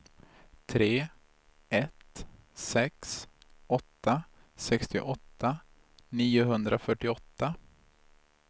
tre ett sex åtta sextioåtta niohundrafyrtioåtta